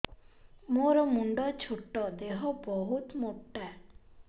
ମୋର ମୁଣ୍ଡ ଛୋଟ ଦେହ ବହୁତ ମୋଟା